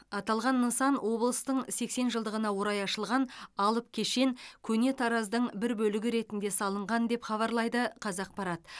аталған нысан облыстың сексен жылдығына орай ашылған алып кешен көне тараздың бір бөлігі ретінде салынған деп хабарлайды қазақпарат